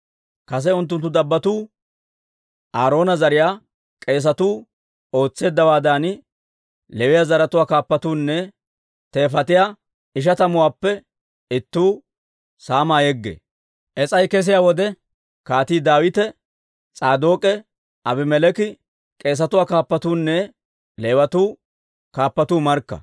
Kase unttunttu dabbotuu, Aaroona zariyaa k'eesatuu ootseeddawaadan, Leewiyaa zaratuwaa kaappatuunne teefatiyaa ishatuwaappe ittuu saamaa yeggee. Is's'ay kesiyaa wode Kaatii Daawite, S'aadook'e, Abimeleeki, k'eesatuwaa kaappatuunne Leewatuu kaappatuu markka.